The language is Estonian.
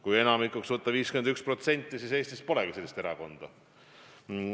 Kui enamikuks võtta 51%, siis Eestis polegi sellist erakonda.